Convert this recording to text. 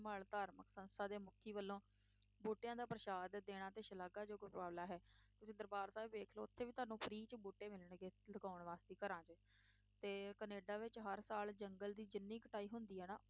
ਸੰਭਾਲ ਧਾਰਮਿਕ ਸੰਸਥਾ ਦੇ ਮੁੱਖੀ ਵੱਲੋਂ ਬੂਟਿਆਂ ਦਾ ਪ੍ਰਸ਼ਾਦ ਦੇਣਾ ਤੇ ਸਲਾਘਾਯੋਗ ਉਪਰਾਲਾ ਹੈ, ਤੁਸੀਂ ਦਰਬਾਰ ਸਾਹਿਬ ਵੇਖ ਲਓ ਉੱਥੇ ਵੀ ਤੁਹਾਨੂੰ free 'ਚ ਬੂਟੇ ਮਿਲਣਗੇ ਲਗਾਉਣ ਵਾਸਤੇ ਘਰਾਂ 'ਚ ਤੇ ਕੈਨੇਡਾ ਵਿੱਚ ਹਰ ਸਾਲ ਜੰਗਲ ਦੀ ਜਿੰਨੀ ਕਟਾਈ ਹੁੰਦੀ ਆ ਨਾ,